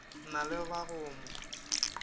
na le ba go mo